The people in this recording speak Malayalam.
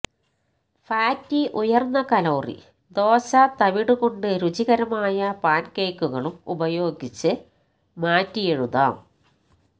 ഫാറ്റി ഉയർന്ന കലോറി ദോശ തവിട് കൊണ്ട് രുചികരമായ പാൻകേക്കുകളും ഉപയോഗിച്ച് മാറ്റിയെഴുതാം